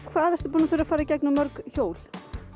hvað ertu búinn að fara í gegnum mörg hjól